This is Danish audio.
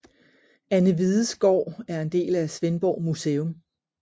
Anne Hvides Gård er en del af Svendborg Museum